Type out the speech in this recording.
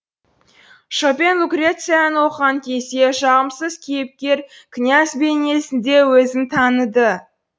шопен лукрецияны оқыған кезде жағымсыз кейіпкер князь бейнесінде өзін таныды